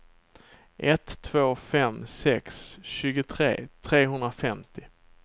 ett två fem sex tjugotre trehundrafemtio